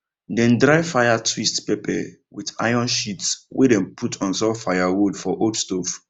dem dry fire twist pepper with iron sheet wey dem put on top firewood for old stove